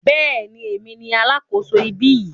Bẹ́ẹ̀ni, èmi ni alákòso ibí yìí.